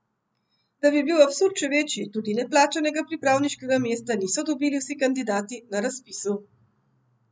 Da bi bil absurd še večji, tudi neplačanega pripravniškega mesta niso dobili vsi kandidati na razpisu.